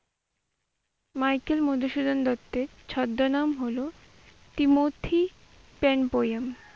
Michael Madhusudan দত্তের ছদ্মনাম হলো টিমোথী পেন পোয়েম।